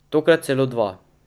Tokrat celo dva.